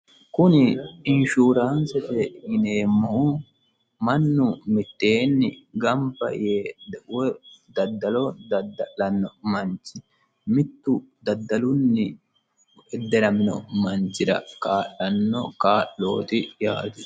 kuni inshuuraansete yineemmohu mannu mitteenni gamba yee woy daddalo dadda'lanno manch mittu dadda'anno manchira kaa'lanno kaa'looti yaate